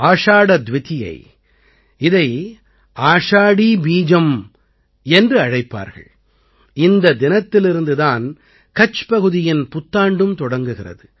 ஆஷாட துவிதீயை இதை ஆஷாடீ பீஜம் என்றும் அழைப்பார்கள் இந்த தினத்திலிருந்து தான் கட்ச் பகுதியின் புத்தாண்டும் தொடங்குகிறது